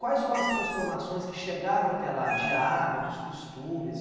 Quais foram as transformações que chegaram até lá, de hábitos, costumes?